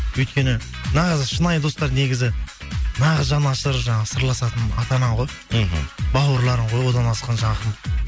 өйткені нағыз шынайы достар негізі нағыз жанашыр жаңағы сырласатын ата ана ғой мхм бауырларың ғой одан асқан жақын